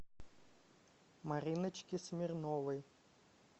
мариночки смирновой